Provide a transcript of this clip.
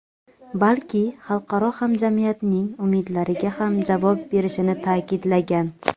balki xalqaro hamjamiyatning umidlariga ham javob berishini ta’kidlagan.